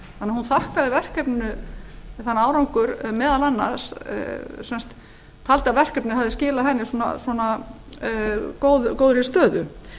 að hún þakkaði verkefninu þann árangur meðal annars taldi að verkefnið hefði skilað henni svona góðri stöðu